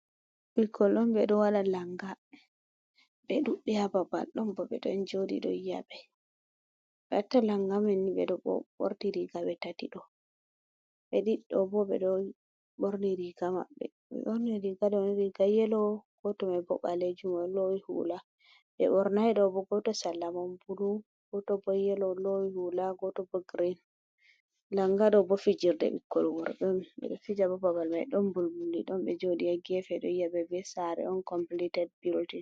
Ɓikkoy ɗon ɓe ɗo walɗa lannga, ɓe ɗuɓbei haa babal, ɗon boo ɓe ɗon jooɗi ɗo yia'ɓe ɓe accaa lannga man ɓe ɗo boo ɓorti riiga ɓe tati ɗo'o ɓe ɗiɗo boo be ɗo ɓorti imriiga maɓɓe ɓe borni riiga iri ba yelo gooto mai bo ɓaleejumo loowi huula, ɓe ɓornay, ndaa boo gooto sera man bulu, gooto boo yelo, loowi huula, gooto boo girin, lannga ɗo boo fijirde ɓikkoy worɓe on ɓe ɗo fija boo babal mai ɗon mbulmbuldi, ɗon ɓe jooɗi haa geefe ɗo yi'aɓe bee saare on kompliited bildin.